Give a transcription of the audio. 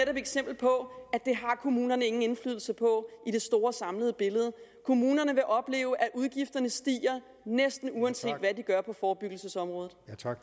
et eksempel på at det har kommunerne ingen indflydelse på i det store samlede billede kommunerne vil opleve at udgifterne stiger næsten uanset hvad de gør på forebyggelsesområdet